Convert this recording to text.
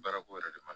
Baarako yɛrɛ de ma